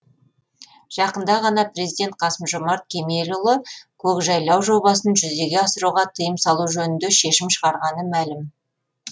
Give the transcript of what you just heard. жақында ғана президент қасым жомарт кемелұлы көкжайлау жобасын жүзеге асыруға тыйым салу жөнінде шешім шығарғаны мәлім